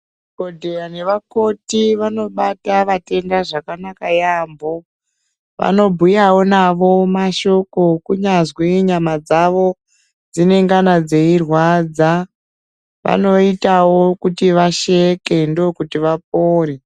Madhogodheya nevakoti vanobata vatenda zvakanaka yaamho. Vanobhuyavo navo mashoko kunyazwi nyama dzavo dzinengana dzeirwadza, vanoitavo kuti vasheke ndokuti vapore.